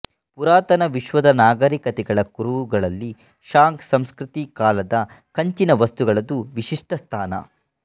ಪುರಾತನ ವಿಶ್ವದ ನಾಗರಿಕತೆಗಳ ಕುರುಹುಗಳಲ್ಲಿ ಷಾಂಗ್ ಸಂಸ್ಕೃತಿಕಾಲದ ಕಂಚಿನ ವಸ್ತುಗಳದು ವಿಶಿಷ್ಟ ಸ್ಥಾನ